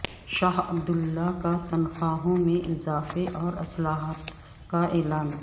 شاہ Abdullah کا تنخواہوں میں اضافے اور اصلاحات کا اعلان